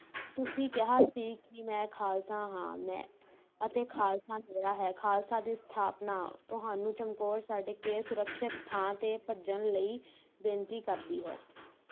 ਤੁਸੀਂ ਕਿਹਾ ਸੀ ਕਿ ਮੈਂ ਖਾਲਸਾ ਹਾਂ ਮੈਂ ਅਤੇ ਖਾਲਸਾ ਮੇਰਾ ਹੈ, ਖਾਲਸਾ ਦੀ ਸਥਾਪਨਾ ਤੁਹਾਨੂੰ ਚਮਕੌਰ ਛੱਡ ਕੇ ਸੁਰੱਖਿਅਤ ਥਾਂ ਤੇ ਭੱਜਣ ਲਈ ਬੇਨਤੀ ਕਰਦੀ ਹੈ